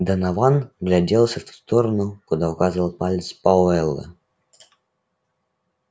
донован вгляделся в ту сторону куда указывал палец пауэлла